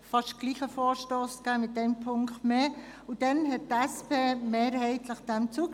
Damals stimmte die SP dieser Motion mehrheitlich zu.